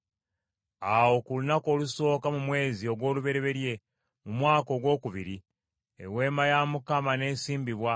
Awo ku lunaku olusooka mu mwezi ogw’olubereberye, mu mwaka ogwokubiri, Eweema ya Mukama n’esimbibwa.